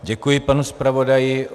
Děkuji panu zpravodaji.